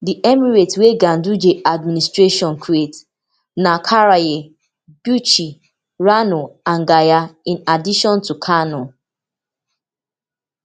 di emirates wey ganduje administration create na karaye bichi rano and gaya in addition to kano